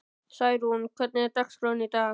Særún, hvernig er dagskráin í dag?